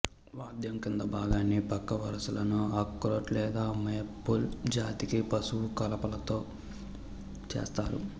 వాద్యం కింది భాగాన్ని పక్క వరుసలను అఖ్రోట్ లేదా మేపుల్ జాతి వృక్షపు కలపతో చేస్తారు